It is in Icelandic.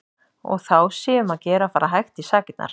Og þá sé um að gera að fara hægt í sakirnar.